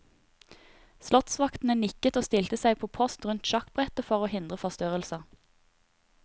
Slottsvaktene nikket og stilte seg på post rundt sjakkbrettet for å hindre forstyrrelser.